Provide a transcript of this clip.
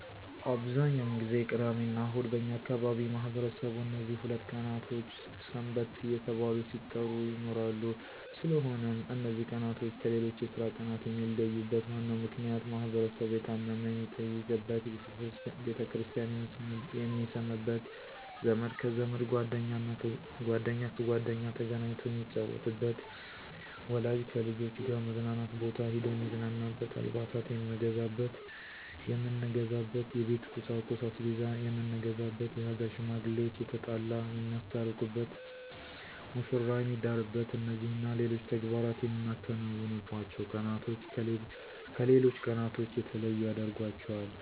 አብዛኛውን ጊዜ ቅዳሚና እሁድ በእኛ አካባቢ ማህበረሰቡ እነዚህ ሁለት ቀኖች ሰንበት እየተባሉ ሲጠሩ ይኖራሉ ስለሆነም እነዚ ቀናቶች ከሌሎች የስራ ቀናት የሚለዩበት ዋናው ምክንያት ማህበረሰቡ የታመመ የሚጠይቅበት፣ ቤተክርስቲያን የሚስምበት፣ ዘመድ ከዘመድ ጓደኛ ከጓደኛ ተገናኝቶ የሚጫወትበት፣ ወላጅ ከልጆች ጋር መዝናኛ ቦታ ሂዶ የሚዝናናበት፣ አልባሳት የምንገዛበት፣ የቤት ቁሳቁስ(አስቤዛ የምንገዛበት)የሀገር ሽማግሌዋች የተጣላ የሚያስታርቁበት፣ መሽራ የሚዳርበት እነዚህና ሌሎች ተግባራት የምናከናውንባቸው ቀናቶች ከሌሎች ቀናቶች የተለዩ ያደርጋቸዋል።